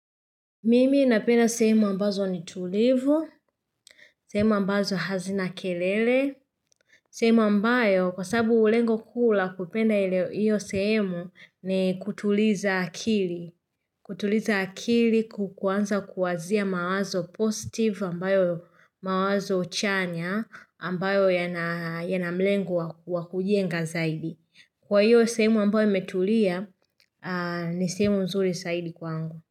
Mimi napenda sehemu ambazo nitulivu, sehemu ambazo hazina kelele, sehemu ambayo kwa sababu lengo kuu la kupenda hio sehemu ni kutuliza akili. Kutuliza akili kuanza kuwazia mawazo positive ambayo mawazo chanya ambayo yana malengo wakujenga zaidi. Kwa hiyo sehemu ambayo imetulia ni sehemu nzuri zaidi kwangu.